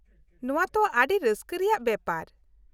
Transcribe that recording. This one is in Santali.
-ᱱᱚᱶᱟ ᱛᱚ ᱟᱹᱰᱤ ᱨᱟᱹᱥᱠᱟᱹ ᱨᱮᱭᱟᱜ ᱵᱮᱯᱟᱨ ᱾